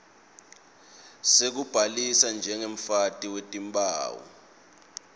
sekubhalisa njengemfaki wetimphawu